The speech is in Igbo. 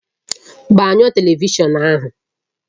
Gbanyụọ Televishọn ahụ!